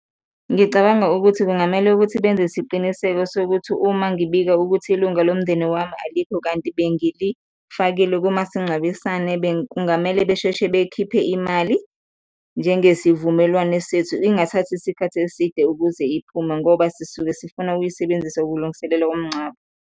Ngicabanga ukuthi kungamele ukuthi benze isiqiniseko sokuthi uma ngibika ukuthi ilunga lomndeni wami alikho kanti bengilifakile kumasingcwabisane, kungamele besheshe bekhiphe imali njengesivumelwane sethu, ingathathi isikhathi eside ukuze iphume ngoba sisuke sifuna ukuyisebenzisa ukulungiselela komngcwabo.